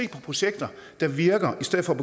projekter der virker i stedet for